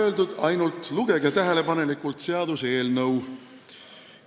Seal ei ole nii öeldud, lugege tähelepanelikult seaduseelnõu.